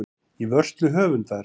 Í vörslu höfundar.